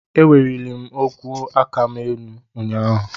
Eweliri m ogwe aka m ụnyahụ.